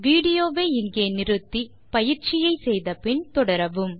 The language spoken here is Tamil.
விடியோவை இங்கே இடைநிறுத்தி கொடுத்த பயிற்சியை செய்தபின் தொடரவும்